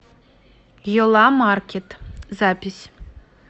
йола маркет запись